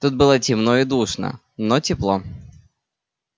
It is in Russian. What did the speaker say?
тут было темно и душно но тепло